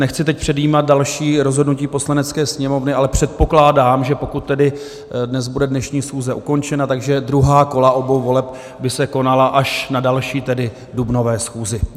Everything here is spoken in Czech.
Nechci teď předjímat další rozhodnutí Poslanecké sněmovny, ale předpokládám, že pokud tedy dnes bude dnešní schůze ukončena, tak druhá kola obou voleb by se konala až na další, tedy dubnové schůzi.